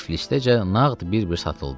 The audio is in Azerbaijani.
Tiflisdəcə nağd bir-bir satıldı.